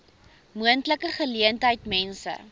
moontlike geleentheid mense